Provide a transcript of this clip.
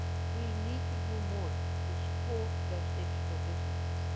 We need to do more to support digital businesses.